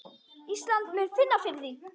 Ísland muni finna fyrir því.